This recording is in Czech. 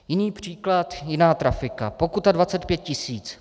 Jiný příklad, jiná trafika, pokuta 25 tisíc.